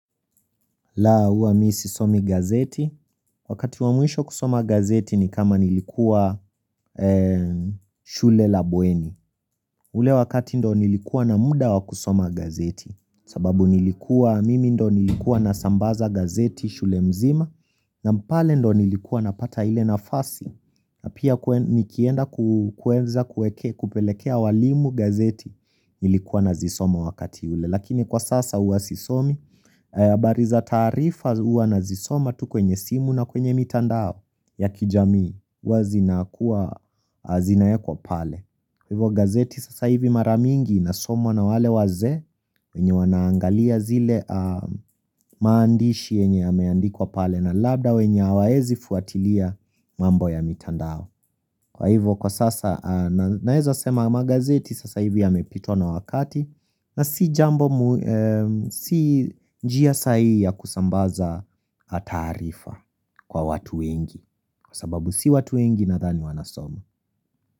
La, huwa mimi sisomi gazeti. Wakati wa mwisho kusoma gazeti ni kama nilikuwa shule la bueni ule wakati ndo nilikuwa na muda wakusoma gazeti sababu nilikuwa, mimi ndio nilikuwa na sambaza gazeti shule mzima na pale ndio nilikuwa napata ile nafasi na pia nikienda kueza kupelekea walimu gazeti nilikuwa ninazisoma wakati ule. Lakini kwa sasa huwa sisomi. Habari za taarifa huwa ninazisoma tu kwenye simu na kwenye mitandao ya kijamii huwa zinawekwa pale. Kwa hivyo gazeti sasa hivi mara mingi inasomwa na wale wazee wenye wanaangalia zile maandishi yenye yameandikwa pale na labda wenye hawawezi kufuatilia mambo ya mitandao. Kwa hivyo kwa sasa naeza sema magazeti sasa hivi yamepitwa na wakati na si jambo si njia sahihi ya kusambaza taarifa kwa watu wengi, kwa sababu si watu wengi nadhani wanasoma.